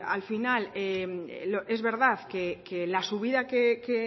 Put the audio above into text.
al final es verdad que la subida que